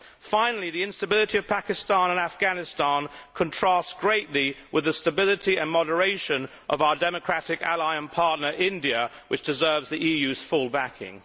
Finally, the instability of Pakistan and Afghanistan contrasts greatly with the stability and moderation of our democratic ally and partner, India, which deserves the EU's full backing.